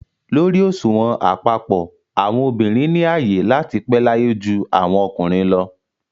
Lórí òṣùwọ̀n àpapọ̀, àwọn obìnrin ni ààyè láti pẹ́ láyé ju àwọn ọkùnrin lọ